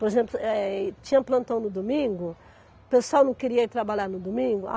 Por exemplo, eh, tinha plantão no domingo, o pessoal não queria ir trabalhar no domingo.